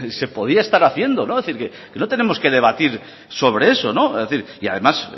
se podía estar haciendo es decir que no tenemos que debatir sobre eso es decir y además